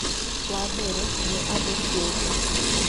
wa mbere nĩ andũ kĩũmbe